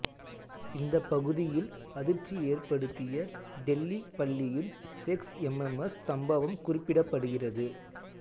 இந்த பகுதியில் அதிர்ச்சி ஏற்படுத்திய டெல்லி பள்ளியின் செக்ஸ் எம்எம்எஸ் சம்பவம் குறிப்பிடப்படுகிறது